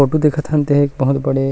photo देखत हन ते ह एक बहुत बड़े--